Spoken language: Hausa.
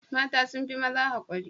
Mata sun fi maza haƙuri.